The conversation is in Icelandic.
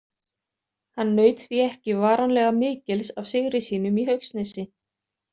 Hann naut því ekki varanlega mikils af sigri sínum í Haugsnesi.